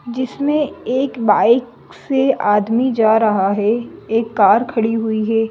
जिसमें एक बाइक से आदमी जा रहा है एक कार खड़ी हुई है।